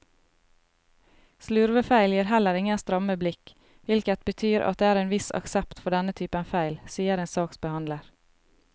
Slurvefeil gir heller ingen stramme blikk, hvilket betyr at det er en viss aksept for denne typen feil, sier en saksbehandler.